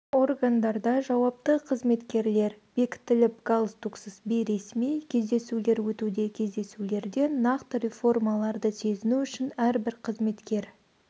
органдарда жауапты қызметкерлер бекітіліп галстуксыз бейресми кездесулер өтуде кездесулерде нақты реформаларды сезіну үшін әрбір қызметкер